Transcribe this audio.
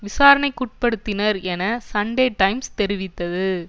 விசாரணைக்குட்படுத்தினர் என Sunday Times தெரிவித்தது